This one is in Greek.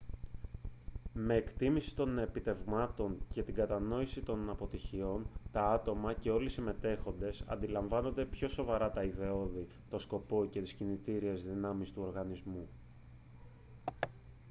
με την εκτίμηση των επιτευγμάτων και την κατανόηση των αποτυχιών τα άτομα και όλοι οι συμμετέχοντες αντιλαμβάνονται πιο σοβαρά τα ιδεώδη τον σκοπό και τις κινητήριες δυνάμεις του οργανισμού